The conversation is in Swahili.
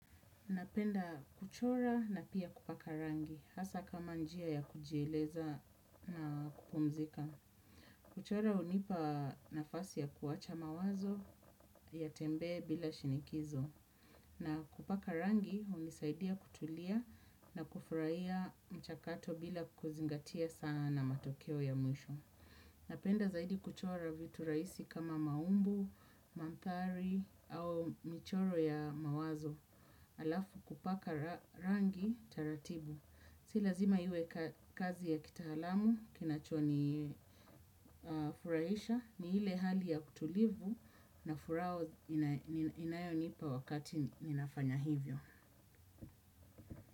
Napenda kuchora na pia kupaka rangi, hasa kama njia ya kujieleza na kupumzika. Kuchora hunipanafasi ya kuwacha mawazo yatembee bila shinikizo. Na kupaka rangi hunisaidia kutulia na kufurahia mchakato bila kuzingatia sana matokeo ya mwisho. Napenda zaidi kuchora vitu rahisi kama maumbu, mandhari au michoro ya mawazo. Alafu kupaka rangi taratibu. Si lazima iwe kazi ya kitaalamu. Kinachonifurahisha ni ile hali ya kutulivu na furaha inayonipa wakati ninafanya hivyo.